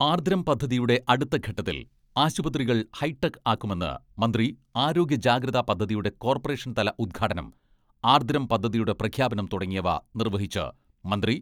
ആർദ്രം പദ്ധതിയുടെ അടുത്ത ഘട്ടത്തിൽ ആശുപ്രതികൾ ഹൈടെക് ആക്കുമെന്ന് മന്ത്രി ആരോഗ്യ ജാഗ്രതാ പദ്ധതിയുടെ കോർപ്പറേഷൻ തല ഉദ്ഘാടനം ആർദ്രം പദ്ധതിയുടെ പ്രഖ്യാപനം തുടങ്ങിയവ നിർവഹിച്ച് മന്ത്രി.